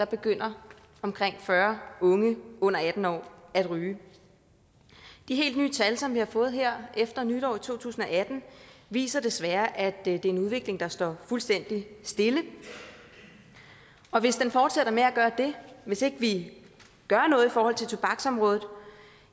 begynder omkring fyrre unge under atten år at ryge de helt nye tal som vi har fået her efter nytår i to tusind og atten viser desværre at det er en udvikling der står fuldstændig stille og hvis den fortsætter med at gøre det hvis ikke vi gør noget i forhold til tobaksområdet